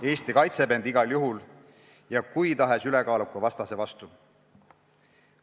Eesti kaitseb end igal juhul ja kui tahes ülekaaluka vastase vastu.